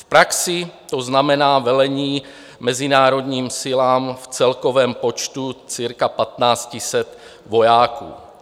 V praxi to znamená velení mezinárodním silám v celkovém počtu cirka 1 500 vojáků.